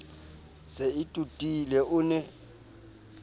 se e totile o ne